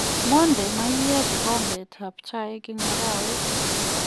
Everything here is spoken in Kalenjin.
Monde mayeek gigombok ab chai en mugaaweet